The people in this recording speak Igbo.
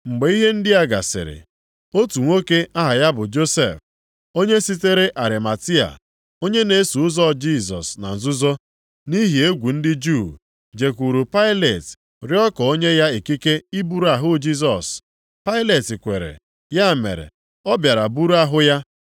Mgbe ihe ndị a gasịrị, otu nwoke aha ya bụ Josef, onye sitere Arimatia, onye na-eso ụzọ Jisọs na nzuzo, nʼihi egwu ndị Juu, jekwuuru Pailet rịọ ka o nye ya ikike iburu ahụ Jisọs, Pailet kwere, ya mere ọ bịara buru ahụ ya.